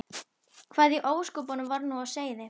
Hvað í ósköpunum var nú á seyði?